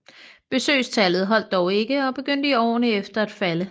Besøgstallet holdt dog ikke og begyndte i årene efter at falde